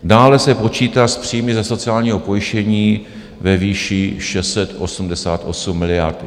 Dále se počítá s příjmy ze sociálního pojištění ve výši 688 miliard.